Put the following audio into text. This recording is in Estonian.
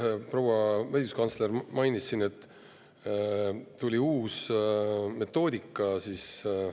Proua õiguskantsler mainis siin, et tuli uus metoodika.